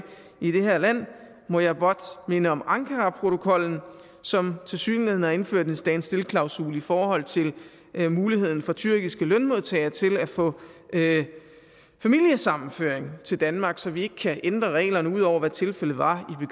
i det her land må jeg blot minde om ankaraprotokollen som tilsyneladende har indført en stand still klausul i forhold til muligheden for tyrkiske lønmodtagere til at få familiesammenføring til danmark så vi ikke kan ændre reglerne ud over hvad tilfældet var